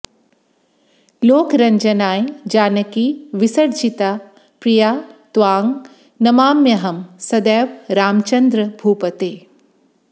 लोकरञ्जनाय जानकी विसर्जिता प्रिया त्वां नमाम्यहं सदैव रामचन्द्र भूपते